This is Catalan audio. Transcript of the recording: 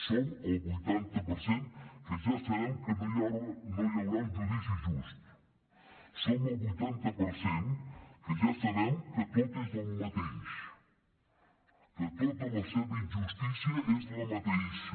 som el vuitanta per cent que ja sabem que no hi haurà un judici just som el vuitanta per cent que ja sabem que tot és el mateix que tota la seva injustícia és la mateixa